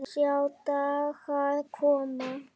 Sjá dagar koma